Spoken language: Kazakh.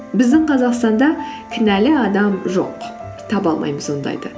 біздің қазақстанда кінәлі адам жоқ таба алмаймыз ондайды